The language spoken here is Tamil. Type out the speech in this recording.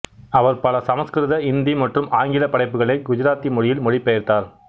அவர் பல சமசுகிருத இந்தி மற்றும் ஆங்கில படைப்புகளை குஜராத்தி மொழியில் மொழிபெயர்த்தார்